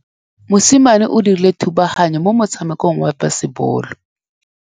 Mosimane o dirile thubaganyô mo motshamekong wa basebôlô.